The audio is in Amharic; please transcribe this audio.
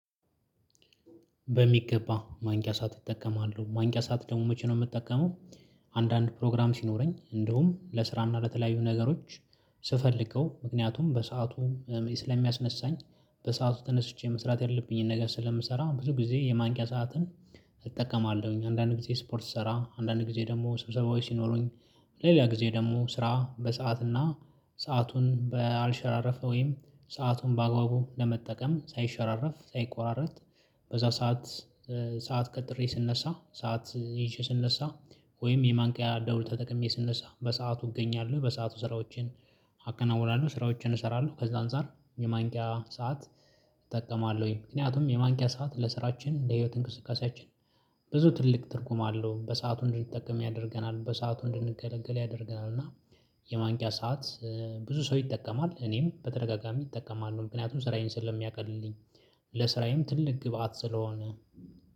በሚገባ ማንቂያ ሰዓት እጠቀማለሁ ማንቂያ ሰዓት ደግሞ መቼ ነው የምጠቀመው? አንዳንድ ፕሮግራም ሲኖረኝ እንደውም ለስራና ለተለያዩ ነገሮች ስፈልገው ምክንያቱም በሰአቱ ስለሚያስነሳኝ በሰአቱ ተነስቼ መስራት ያለብኝን ነገር ስለምሰራ ብዙ ጊዜ የማንቂያ ሰዓትን እጠቀማለሁኝ። አንዳንድ ጊዜ ስፖርት ስሰራ አንዳንድ ጊዜ ደግሞ ስብሰባዊ ሲኖሩኝ። ሌላ ጊዜ ደግሞ ስራ በሰአትና ሰአቱን ባልሸራረፈ ወይም ሰአቱን በአግባቡ ለመጠቀም ሳይሸራረፍ ሳይቆራርጥ። በዛ ሰዓት ሰዓት ቀጥሬ ስነሳ ሰዓት ይዤ ስነሳ። ወይም የማንቂያ ደውል ተጠቅሜ ስንሰራ በሰአቱ እገኛለሁ በሰአቱ ስራዎችን አካናውናለሁ ስራዎችን እሰራለሁ ከዛ አንፃር የማንቂያ ሰዓት እጠቀማለሁኝ። ምክንያቱም የማንኪያ ሰዓት ለስራችን ለህይወት እንቅስቃሴያችን ብዙ ትልቅ ትርጉም አለው በሰአቱ እንድንጠቀም ያደርገናል በሰአቱ እንድንገለገል ያደርገናል። እና የማንቂያ ሰዓት ብዙ ሰው ይጠቀማል እኔም በተደጋጋሚ እጠቀማሉ ምክንያቱም ስራዬን ስለሚያቀልልኝ። ለስራዬም ትልቅ ግብአት ስለሆነ